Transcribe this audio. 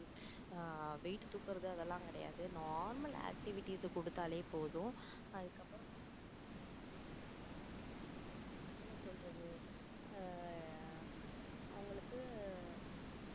ஆஹ் weight தூக்கறது அதெல்லாம் கிடையாது normal activities கொடுத்தாலே போதும் அதுக்கப்புறம் என்ன சொல்றது ஆஹ் அவங்களுக்கு